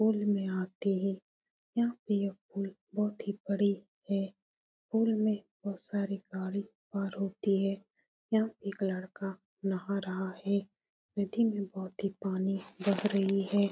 Pool में आते हैं | यहाँ पे यह पुल बहुत ही बड़े हैं । पुल में बहुत सारी गाड़ी पार होती है । यहाँ एक लड़का नहा रहा है । नदी में बहुत ही पानी बह रही है ।